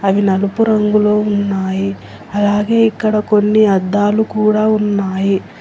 అవి నలుపు రంగులో ఉన్నాయి అలాగే ఇక్కడ కొన్ని అద్దాలు కూడా ఉన్నాయి.